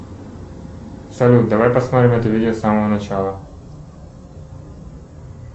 салют давай посмотрим это видео с самого начала